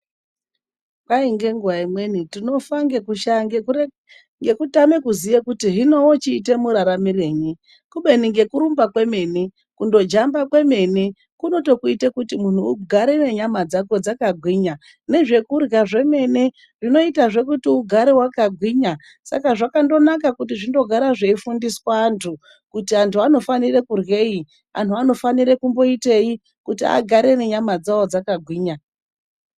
Kwai ngenguva imweni tinofa ngekutame kuziva kuti hino tochiita muraramirenyi, kubeni nekurumba kwemene kundojamba kwemene kunotokuita kuti mundu ugare nyama dzako dzakagwinya, nezvekurya zvemene zvinoita kuti ugare wakagwinya. Saka zvakanaka kuti zvigare zveifundiswa andu kuti andu anofanira kuryei, kuti andu anofanira kumboitei, kuti agare nenyama dzawo dzakagwinya.